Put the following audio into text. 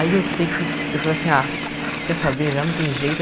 Aí eu sei que, eu falei assim, ah, quer saber, já não tem jeito.